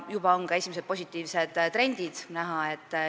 Juba on ka esimesed positiivsed trendid näha.